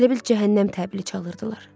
Elə bil cəhənnəm təbili çalırdılar.